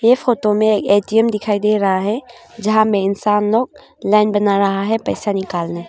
इस फोटो में ए_टी_एम दिखाई दे रहा है जहां में इंसान लोग लाईन बना रहा है पैसा निकालने--